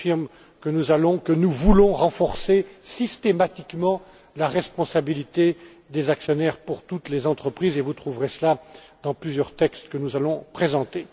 Je confirme que nous allons, que nous voulons renforcer systématiquement la responsabilité des actionnaires pour toutes les entreprises, et vous trouverez cela dans plusieurs textes que nous allons présenter.